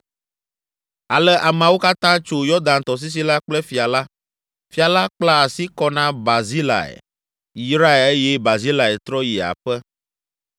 Ale ameawo katã tso Yɔdan tɔsisi la kple fia la. Fia la kpla asi kɔ na Barzilai, yrae eye Barzilai trɔ yi aƒe.